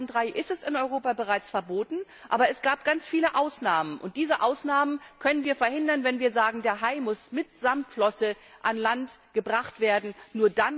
Seit 2003 ist es in Europa bereits verboten, aber es gab ganz viele Ausnahmen, und diese Ausnahmen können wir verhindern, wenn wir festlegen, dass der Hai mitsamt Flosse an Land gebracht werden muss.